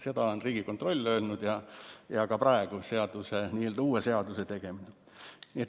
Seda on Riigikontroll öelnud ja seda ka praegu, n‑ö uue seaduse tegemisel.